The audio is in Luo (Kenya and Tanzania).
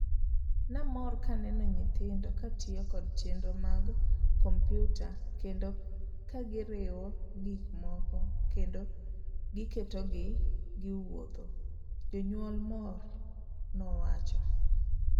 'Namor kaneno nyithindo katiyo kod chenro mag kompiuta''kendo kagiriwo gik moko kendo giketogi giwuotho'',janyuol moro nowacho.